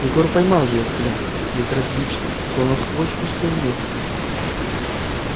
егор поймал её взгляд безразличный словно сквозь пустое место